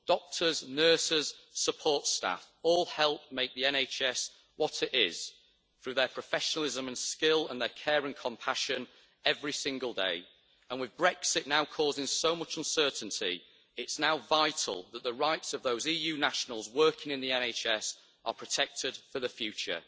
Doctors, nurses, support staff all help make the NHS what it is through their professionalism and skill and their care and compassion every single day, and with Brexit now causing so much uncertainty, it's now vital that the rights of those EU nationals working in the NHS are protected for the future.